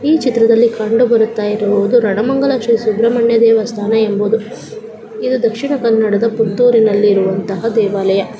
ಈ ಚಿತ್ರದಲ್ಲಿ ಕಂಡುಬರುತ್ತಿರುವುದು ರಣಮಂಗಲ ಶ್ರೀ ಸುಬ್ರಮಣ್ಯ ದೇವಸ್ಥಾನ ಎಂಬುದು ಇದು ದಕ್ಷಿಣ ಕನ್ನಡದ ಪುತ್ತೂರಿನಲ್ಲಿ ಇರುವ ದೇವಾಲಯ.